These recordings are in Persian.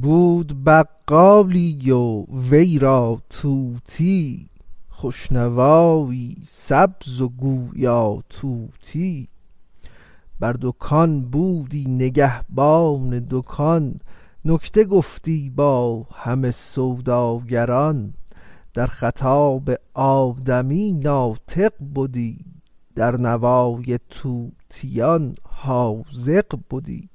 بود بقالی و وی را طوطیی خوش نوایی سبز و گویا طوطیی بر دکان بودی نگهبان دکان نکته گفتی با همه سوداگران در خطاب آدمی ناطق بدی در نوای طوطیان حاذق بدی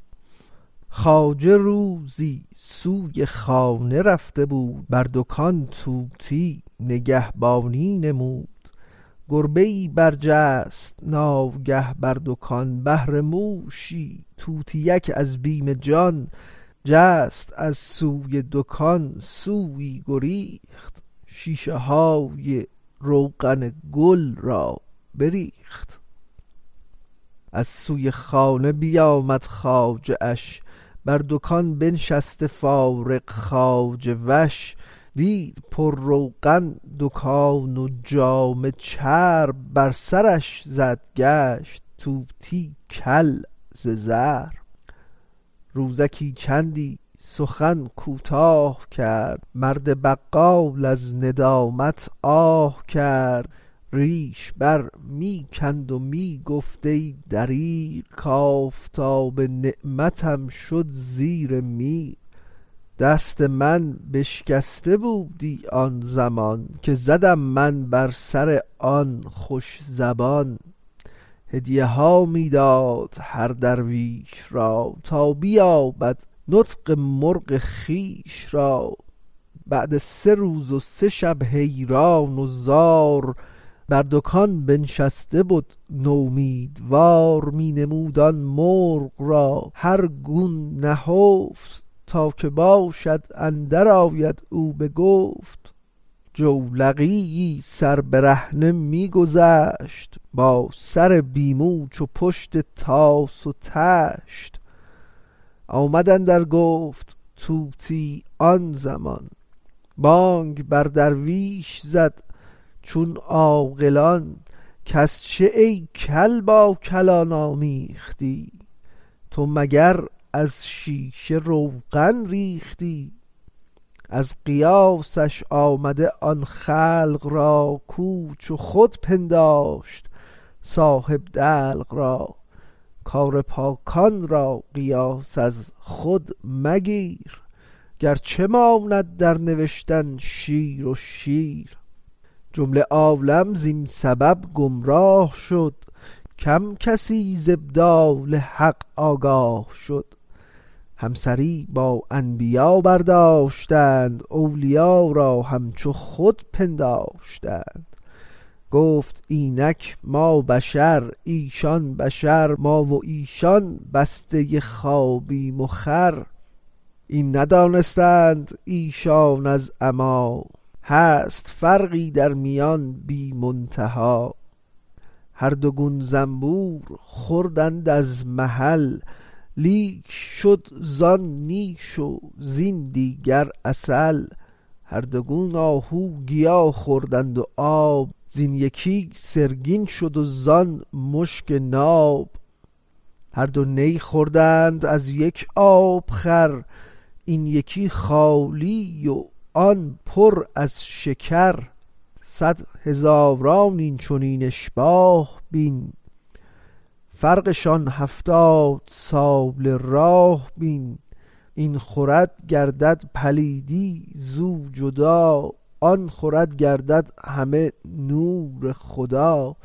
خواجه روزی سوی خانه رفته بود بر دکان طوطی نگهبانی نمود گربه ای برجست ناگه بر دکان بهر موشی طوطیک از بیم جان جست از سوی دکان سویی گریخت شیشه های روغن گل را بریخت از سوی خانه بیامد خواجه اش بر دکان بنشست فارغ خواجه وش دید پر روغن دکان و جامه چرب بر سرش زد گشت طوطی کل ز ضرب روزکی چندی سخن کوتاه کرد مرد بقال از ندامت آه کرد ریش بر می کند و می گفت ای دریغ کافتاب نعمتم شد زیر میغ دست من بشکسته بودی آن زمان که زدم من بر سر آن خوش زبان هدیه ها می داد هر درویش را تا بیابد نطق مرغ خویش را بعد سه روز و سه شب حیران و زار بر دکان بنشسته بد نومیدوار می نمود آن مرغ را هر گون نهفت تا که باشد اندرآید او بگفت جولقیی سر برهنه می گذشت با سر بی مو چو پشت طاس و طشت آمد اندر گفت طوطی آن زمان بانگ بر درویش زد چون عاقلان کز چه ای کل با کلان آمیختی تو مگر از شیشه روغن ریختی از قیاسش خنده آمد خلق را کو چو خود پنداشت صاحب دلق را کار پاکان را قیاس از خود مگیر گرچه ماند در نبشتن شیر و شیر جمله عالم زین سبب گمراه شد کم کسی ز ابدال حق آگاه شد همسری با انبیا برداشتند اولیا را همچو خود پنداشتند گفته اینک ما بشر ایشان بشر ما و ایشان بسته خوابیم و خور این ندانستند ایشان از عمی هست فرقی درمیان بی منتهی هر دو گون زنبور خوردند از محل لیک شد زان نیش و زین دیگر عسل هر دو گون آهو گیا خوردند و آب زین یکی سرگین شد و زان مشک ناب هر دو نی خوردند از یک آب خور این یکی خالی و آن پر از شکر صد هزاران این چنین اشباه بین فرقشان هفتاد ساله راه بین این خورد گردد پلیدی زو جدا آن خورد گردد همه نور خدا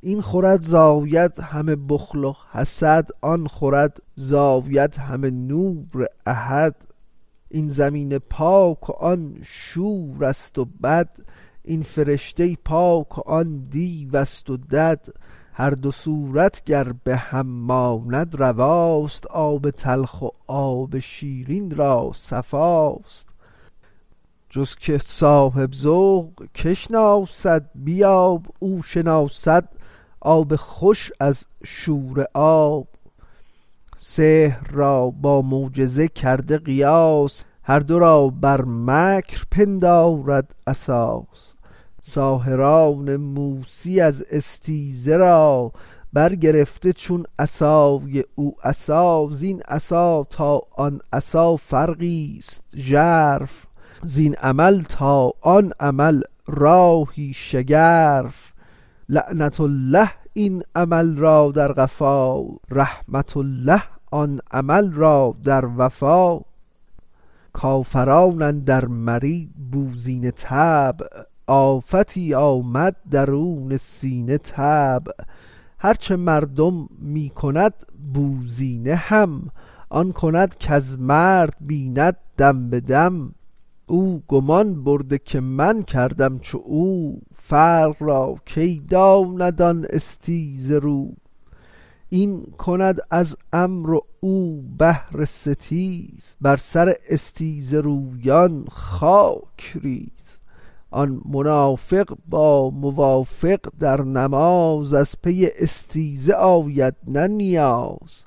این خورد زاید همه بخل و حسد وآن خورد زاید همه نور احد این زمین پاک و آن شوره ست و بد این فرشته پاک و آن دیوست و دد هر دو صورت گر به هم ماند رواست آب تلخ و آب شیرین را صفاست جز که صاحب ذوق کی شناسد بیاب او شناسد آب خوش از شوره آب سحر را با معجزه کرده قیاس هر دو را بر مکر پندارد اساس ساحران موسی از استیزه را برگرفته چون عصای او عصا زین عصا تا آن عصا فرقی ست ژرف زین عمل تا آن عمل راهی شگرف لعنة الله این عمل را در قفا رحمة الله آن عمل را در وفا کافران اندر مری بوزینه طبع آفتی آمد درون سینه طبع هرچه مردم می کند بوزینه هم آن کند کز مرد بیند دم بدم او گمان برده که من کردم چو او فرق را کی داند آن استیزه رو این کند از امر و او بهر ستیز بر سر استیزه رویان خاک ریز آن منافق با موافق در نماز از پی استیزه آید نه نیاز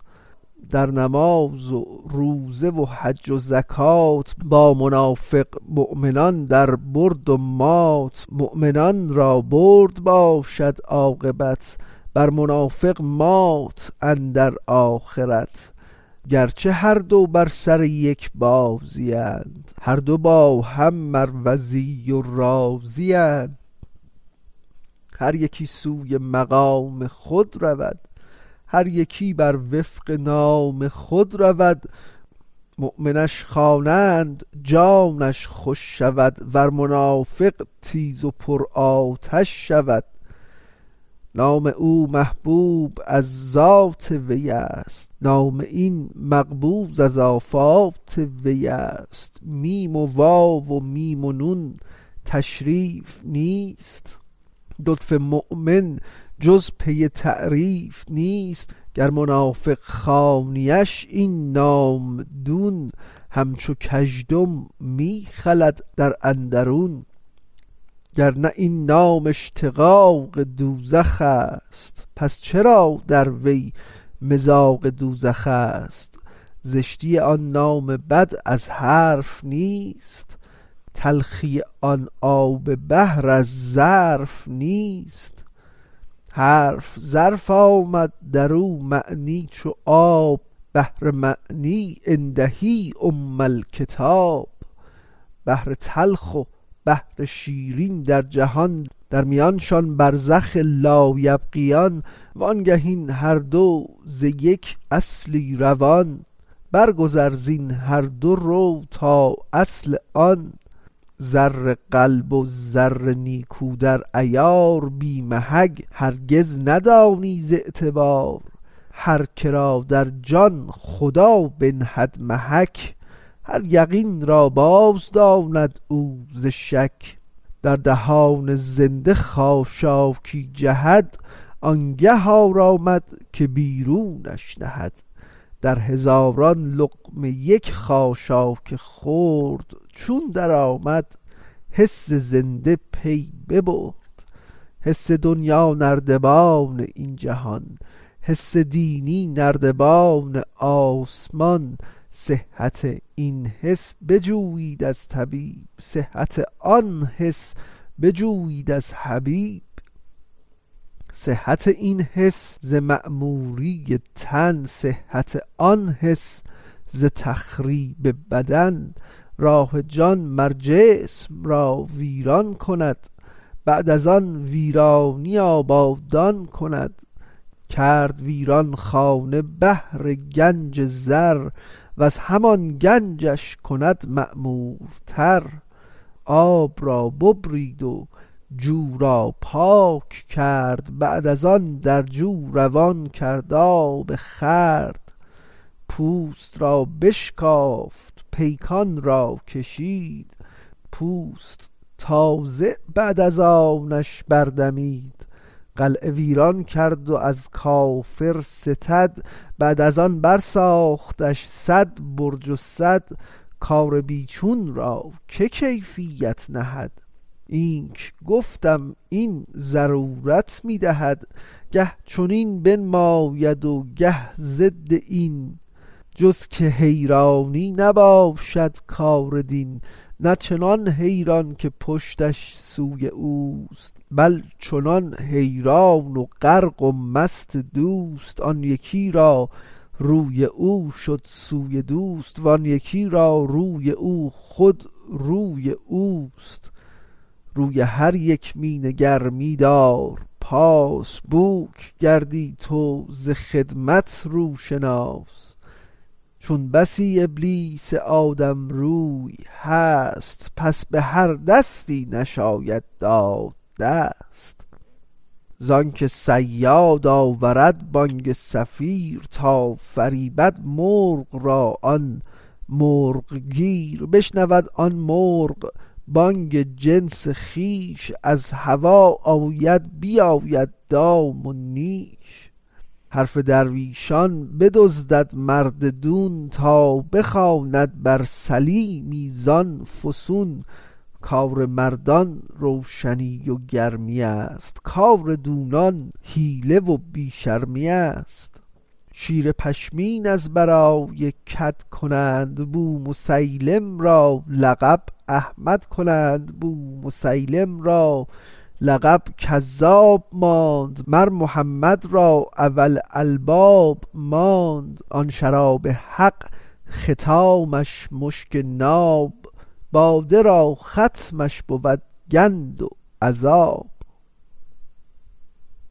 در نماز و روزه و حج و زکات با منافق مؤمنان در برد و مات مؤمنان را برد باشد عاقبت بر منافق مات اندر آخرت گرچه هر دو بر سر یک بازی اند هر دو با هم مروزی و رازی اند هر یکی سوی مقام خود رود هر یکی بر وفق نام خود رود مؤمنش خوانند جانش خوش شود ور منافق تیز و پر آتش شود نام او محبوب از ذات وی است نام این مبغوض از آفات وی است میم و واو و میم و نون تشریف نیست لفظ مؤمن جز پی تعریف نیست گر منافق خوانیش این نام دون همچو کژدم می خلد در اندرون گرنه این نام اشتقاق دوزخست پس چرا در وی مذاق دوزخست زشتی آن نام بد از حرف نیست تلخی آن آب بحر از ظرف نیست حرف ظرف آمد درو معنی چو آب بحر معنی عنده ام الکتاب بحر تلخ و بحر شیرین در جهان در میانشان برزخ لا یبغیان وانگه این هر دو ز یک اصلی روان بر گذر زین هر دو رو تا اصل آن زر قلب و زر نیکو در عیار بی محک هرگز ندانی ز اعتبار هر که را در جان خدا بنهد محک هر یقین را باز داند او ز شک در دهان زنده خاشاکی جهد آنگه آرامد که بیرونش نهد در هزاران لقمه یک خاشاک خرد چون در آمد حس زنده پی ببرد حس دنیا نردبان این جهان حس دینی نردبان آسمان صحت این حس بجویید از طبیب صحت آن حس بجویید از حبیب صحت این حس ز معموری تن صحت آن حس ز تخریب بدن راه جان مر جسم را ویران کند بعد از آن ویرانی آبادان کند کرد ویران خانه بهر گنج زر وز همان گنجش کند معمورتر آب را ببرید و جو را پاک کرد بعد از آن در جو روان کرد آب خورد پوست را بشکافت و پیکان را کشید پوست تازه بعد از آنش بر دمید قلعه ویران کرد و از کافر ستد بعد از آن بر ساختش صد برج و سد کار بی چون را که کیفیت نهد اینک گفتم این ضرورت می دهد گه چنین بنماید و گه ضد این جز که حیرانی نباشد کار دین نه چنان حیران که پشتش سوی اوست بل چنان حیران و غرق و مست دوست آن یکی را روی او شد سوی دوست وان یکی را روی او خود روی اوست روی هر یک می نگر می دار پاس بوک گردی تو ز خدمت روشناس چون بسی ابلیس آدم روی هست پس به هر دستی نشاید داد دست زانک صیاد آورد بانگ صفیر تا فریبد مرغ را آن مرغ گیر بشنود آن مرغ بانگ جنس خویش از هوا آید بیابد دام و نیش حرف درویشان بدزدد مرد دون تا بخواند بر سلیمی زان فسون کار مردان روشنی و گرمیست کار دونان حیله و بی شرمیست شیر پشمین از برای کد کنند بومسیلم را لقب احمد کنند بومسیلم را لقب کذاب ماند مر محمد را اولو الالباب ماند آن شراب حق ختامش مشک ناب باده را ختمش بود گند و عذاب